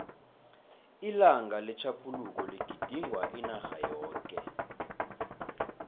ilanga letjhaphuluko ligidingwa inarha yoke